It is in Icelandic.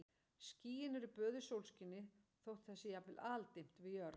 Skýin eru böðuð sólskini þótt það sé jafnvel aldimmt við jörð.